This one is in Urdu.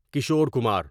کشور کمار